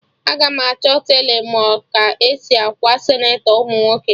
Aga m achọ telọ ma ka esi akwa senatọ ụmụ nwoke